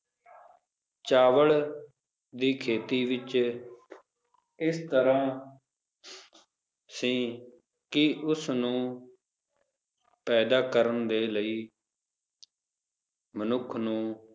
ਚਾਵਲ ਦੀ ਖੇਤੀ ਵਿਚ ਇਸ ਤਰ੍ਹਾਂ ਸੀ ਕੀ, ਉਸ ਨੂੰ ਪੈਦਾ ਕਰਨ ਦੇ ਲਈ ਮਨੁੱਖ ਨੂੰ